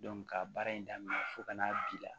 ka baara in daminɛ fo ka n'a bi la